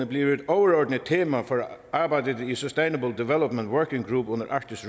bliver et overordnet tema for arbejdet i sustainable development working group under arktisk